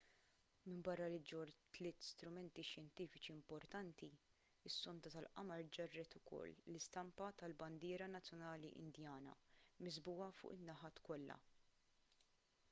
minbarra li ġġorr tliet strumenti xjentifiċi importanti is-sonda tal-qamar ġarret ukoll l-istampa tal-bandiera nazzjonali indjana miżbugħa fuq in-naħat kollha